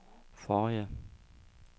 forrige